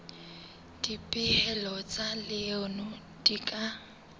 dipehelo tsa leano di ka